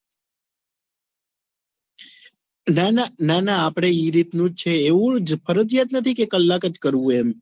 ના ના ના ના આપડે ઈ રીત નું જ છે એવુજ ફરજીયાત નથી કે કલાક જ કરવું એમ